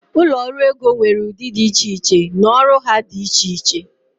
ụlọ ọrụ ego nwere ụdị dị iche iche na ọrụ ha dị iche iche